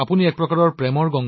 আৰু প্ৰত্যেকৰে মাতৃয়ে কি ভাবে